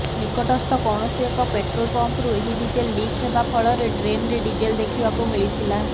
ନିକଟସ୍ଥ କୌଣସି ଏକ ପେଟ୍ରୋଲ୍ ପମ୍ପରୁ ଏହି ଡିଜେଲ୍ ଲିକ୍ ହେବା ଫଳରେ ଡ୍ରେନ୍ରେ ଡିଜେଲ ଦେଖିବାକୁ ମିଳିଥିଲା